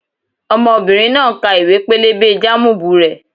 Ọmọbìnrin náà ń ka ìwé-pélébé jámùbù rẹ̀